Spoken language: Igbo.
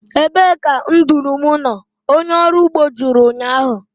Ebee ka nduru m nọ? onye ọrụ ugbo jụrụ ụnyahụ